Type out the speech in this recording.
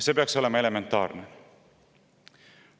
See peaks olema elementaarne.